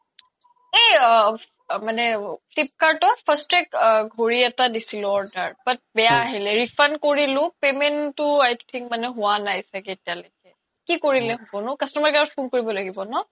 এই মানে flipkart ত fastrack ঘৰি এটা দিছিলো order তাত বেয়া আহিলে refund কৰিলো payment তো i think মানে হুৱা নাই চাগে এতিয়া লৈকে কি কৰিলে হ্'বনো customer care ক phone কৰিব লাগিব ন ?